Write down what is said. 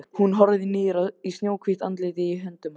Hún horfir niður í snjóhvítt andlitið í höndum hans.